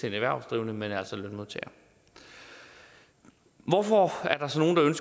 erhvervsdrivende men lønmodtagere hvorfor er der så nogle